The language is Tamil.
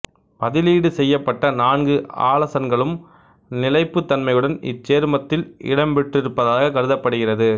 பதிலீடு செய்யப்பட்ட நான்கு ஆலசன்களும் நிலைப்புத்தன்மையுடன் இச்சேர்மத்தில் இடம்பெற்றிருப்பதாகக் கருதப்படுகிறது